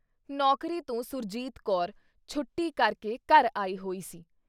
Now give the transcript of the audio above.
ਨੌਕਰੀ ਤੋਂ ਸੁਰਜੀਤ ਕੌਰ ਛੁੱਟੀ ਕਰਕੇ ਘਰ ਆਈ ਹੋਈ ਸੀ।